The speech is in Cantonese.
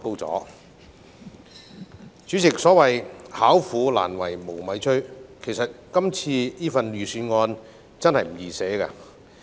代理主席，所謂"巧婦難為無米炊"，其實草擬這份預算案真的不容易。